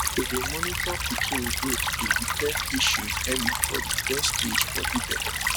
to dey monitor pikin growth dey detect issues early for de first stage for de belle